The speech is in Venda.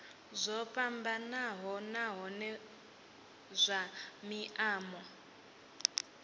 zwo fhambanaho nahone zwa maimo